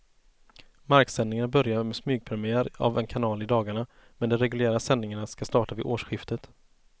Marksändningar börjar med smygpremiär av en kanal i dagarna, men de reguljära sändningarna ska starta vid årsskiftet.